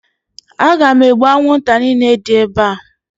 Aga m egbu anwụnta niile dị ebe a